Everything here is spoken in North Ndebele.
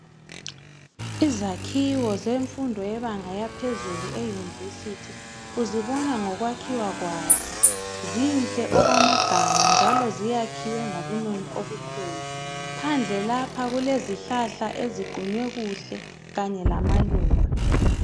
Izakhiwo zemfundo yebanga yaphezulu euniversity uzibona ngokwakhiwa kwazo zinhle okwamagama njalo ziyakhiwe ngobunono obukhulu phandle lapha kulezihlahla eziqunywe kuhle kanye lamaluba.